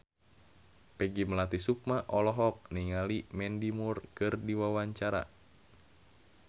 Peggy Melati Sukma olohok ningali Mandy Moore keur diwawancara